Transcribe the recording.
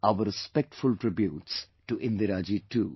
Our respectful tributes to Indira ji too